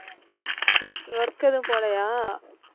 work ஏதும் போலையா?